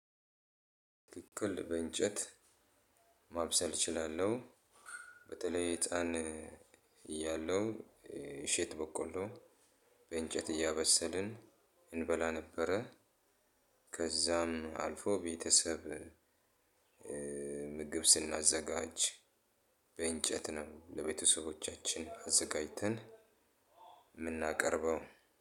በትክክል በእንጨት ማብሰል እችላለሁ። በተለይ ህፃን እያለው እሸት በቆሎ በእንጨት እያበሰልን እንበላ ነበረ። ከዛም አልፎ ቤተሰብ ምግብ ስናዘጋጅ በእንጨት ነው ለቤተሰቦቻችን አዘጋጅተን። የምናቀርበው